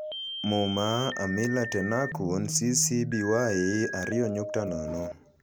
MUMA: Amila Tennakoon (CC BY 2.0)